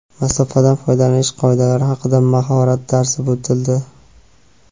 masofadan foydalanish qoidalari haqida mahorat darsi o‘tildi.